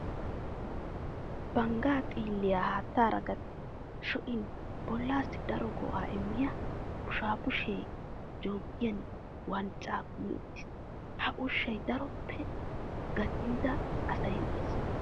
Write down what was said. Banggaa xiilliya haattaara gatti sho'in bollaassi daro go'aa immiya bushaabushee jooggiynne wanccaa kumi uttiis. Ha ushshaa daroppe gacinnida asay uyees.